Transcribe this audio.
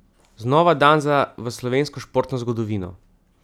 Znova dan za v slovensko športno zgodovino!